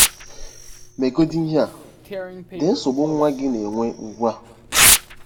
MEGODỊ IHE A: Dee nsogbu nwa gị na-enwe ugbu a.